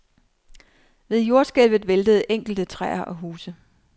Ved jordskælvet væltede enkelte træer og huse.